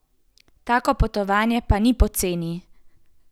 Tako potovanje pa ni poceni.